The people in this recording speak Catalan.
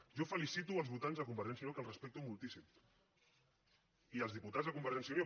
jo felicito els votants de convergència i unió que els respecto moltíssim i els diputats de convergència i unió